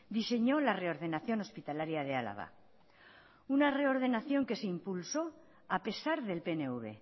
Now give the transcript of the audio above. diseñó la reordenación hospitalaria de álava una reordenación que se impulsó a pesar del pnv